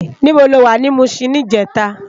Nibó ló wá ni Mushin nijètá?